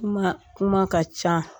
Kuma kuma ka ca